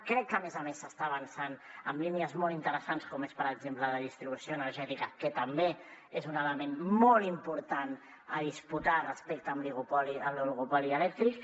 crec que a més a més s’està avançant en línies molt interessants com és per exemple la distribució energètica que també és un element molt important a disputar respecte de l’oligopoli elèctric